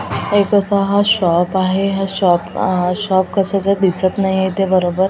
एक असा हा शॉप आहे हा शॉप कशाचा दिसत नाहीये ते बरोबर--